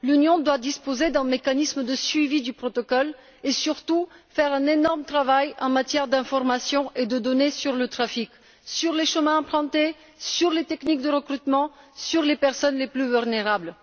L'Union doit disposer d'un mécanisme de suivi du protocole et, surtout, faire un énorme travail en matière d'information et de données sur le trafic, sur le chemin à emprunter, sur les techniques de recrutement, sur les personnes les plus vulnérables.